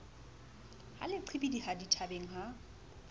ha le qhibidiha dithabeng ha